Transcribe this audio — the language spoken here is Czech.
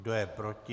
Kdo je proti?